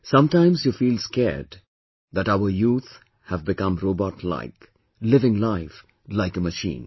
Sometimes you feel scared that our youth have become robot like, living life like a machine